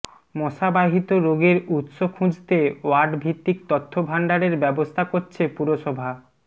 মশা বাহিত রোগের উৎস খুঁজতে ওয়ার্ড ভিত্তিক তথ্য ভাণ্ডারের ব্যবস্থা করছে পুরসভা